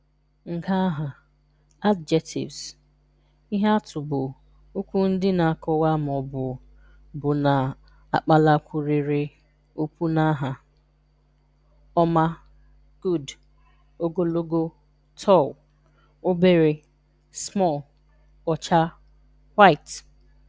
Ngaaha (Adjectives): Ihe atụ bụ okwu ndị na-akọwa ma ọ bụ bụ na-akpalakwụrịrị okwu na aha: Ọma (Good). Ogologo (Tall). Obere (Small). Ọcha (White).